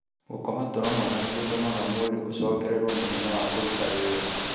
Gũkoma toro mwega nĩ gũtũmaga mwĩrĩ ũcokererũo nĩ hinya wa kũruta wĩra.